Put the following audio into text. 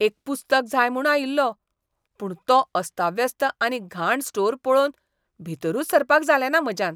एक पुस्तक जाय म्हूण आयिल्लों. पूण तो अस्ताव्यस्त आनी घाण स्टोर पळोवन भीतरूच सरपाक जालेंना म्हाज्यान.